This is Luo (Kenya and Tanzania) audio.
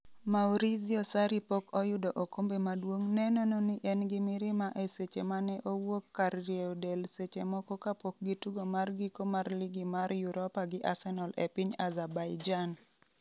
Maurizio Sarri pok oyudo okombe maduong' neneno ni en gi mirima e seche mane owuok e kar rieyo del seche moko kapok gitugo mar giko mar Ligi mar Europa gi Arsenal e piny Azerbaijan.